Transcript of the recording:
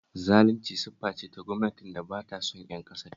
Zalunci siffa ce ta gwamnatin da ba ta son ƴan ƙasarta